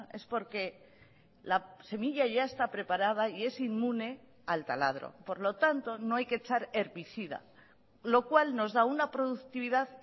es porque la semilla ya está preparada y es inmune al taladro por lo tanto no hay que echar herbicida lo cual nos da una productividad